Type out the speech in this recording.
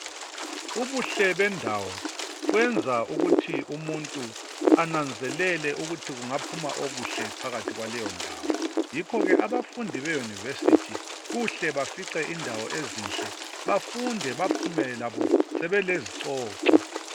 Ubuhle bendawo kwenza ukuthi umuntu ananzelele ukuthi kungaphuma okuhle phakathi kwaleyo ndawo yikho ke abafundi beyunivesithi kuhle bafice indawo ezinhle bafunde bephume labo sebelezicoco.